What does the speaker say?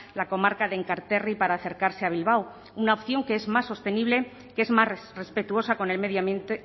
la comarca de enkarterri para acercarse a bilbao una opción que es más sostenible que es más respetuosa con el medio ambiente